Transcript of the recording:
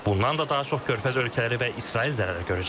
Bundan da daha çox körfəz ölkələri və İsrail zərər görəcək.